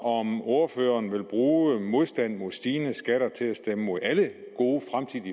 om ordføreren vil bruge modstand mod stigende skatter til at stemme imod alle gode